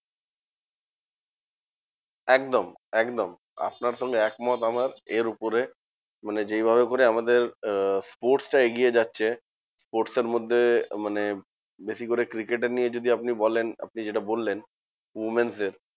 একদম একদম আপনার সঙ্গে একমত আমার এর উপরে। মানে যেইভাবে করে আমাদের আহ sports টা এগিয়ে যাচ্ছে, sports এর মধ্যে মানে বেশি করে cricket এর নিয়ে যদি আপনি বলেন আপনি যেটা বললেন women's এর